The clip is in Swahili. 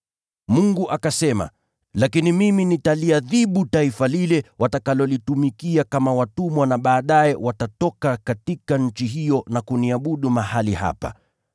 Mungu akasema, ‘Lakini mimi nitaliadhibu taifa watakalolitumikia kama watumwa, na baadaye watatoka katika nchi hiyo na wataniabudu mahali hapa.’